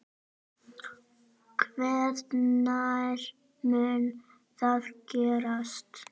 Hvenær mun það gerast?